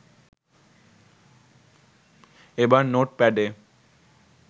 এবার নোটপ্যাডে